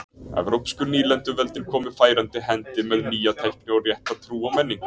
evrópsku nýlenduveldin komu færandi hendi með nýja tækni og rétta trú og menningu